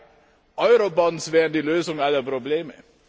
2 Eurobonds wären die Lösung aller Probleme.